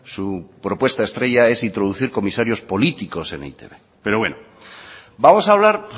su propuesta estrella es introducir comisarios políticos en e i te be pero bueno vamos a hablar